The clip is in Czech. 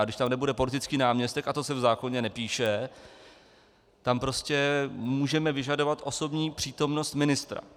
A když tam nebude politický náměstek, a to se v zákoně nepíše, tam prostě můžeme vyžadovat osobní přítomnost ministra.